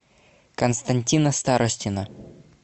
константина старостина